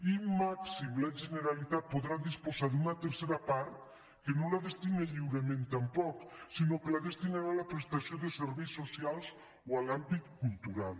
i màxim la generalitat podrà disposar d’una tercera part que no la destina lliurement tampoc sinó que la destinarà a la prestació de serveis socials o en l’àmbit cultural